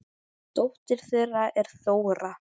Dóttir þeirra er Þóra.